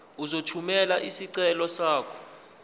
uzothumela isicelo sakho